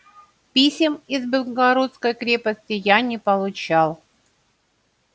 писем из белогорской крепости я не получал